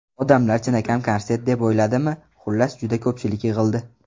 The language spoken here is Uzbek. Odamlar chinakam konsert deb o‘yladimi, xullas, juda ko‘pchilik yig‘ildi.